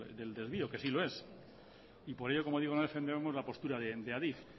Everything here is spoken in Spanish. del desvío que sí lo es y por ello como digo no defendemos la postura de adif